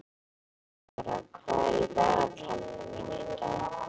Elínóra, hvað er í dagatalinu mínu í dag?